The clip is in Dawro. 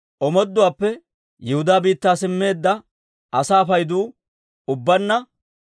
Omooduwaappe Yihudaa biittaa simmeedda asaa paydu ubbaanna 42,360.